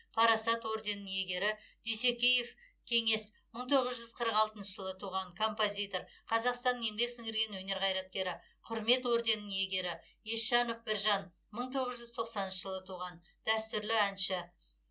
парасат орденінің иегері дүйсекеев кеңес мың тоғыз жүз қырық алтыншы жылы туған композитор қазақстанның еңбек сіңірген өнер қайраткері құрмет орденінің иегері есжанов біржан мың тоғыз жүз тоқсаныншы жылы туған дәстүрлі әнші